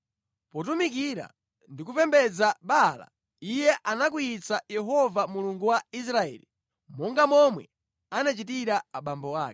Potumikira ndi kupembedza Baala, iye anakwiyitsa Yehova Mulungu wa Israeli, monga momwe anachitira abambo ake.